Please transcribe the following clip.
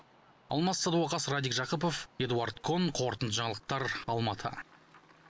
алмас садуақас радик жақыпов эдуард кон қорытынды жаңалықтар алматы